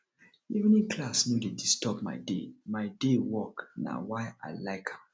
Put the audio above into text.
evening class no dey disturb my day my day work na why i like am